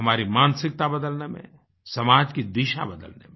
हमारी मानसिकता बदलने में समाज की दिशा बदलने में